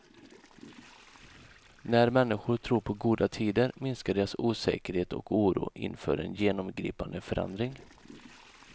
När människor tror på goda tider minskar deras osäkerhet och oro inför en genomgripande förändring.